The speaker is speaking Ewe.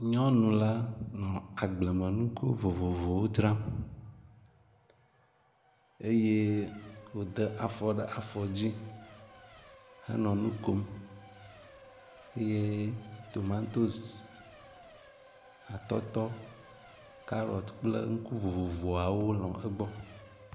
Nyɔnu la nɔ agblemnuku vovovowo dram eye wode afɔ ɖe afɔ dzi henɔ nu kom eye tomatosi, atɔtɔ, kaɖɔt kple nuku vovovowo nɔ egbɔ.